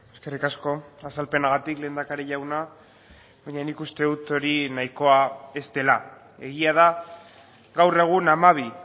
eskerrik asko azalpenagatik lehendakari jauna baina nik uste dut hori nahikoa ez dela egia da gaur egun hamabi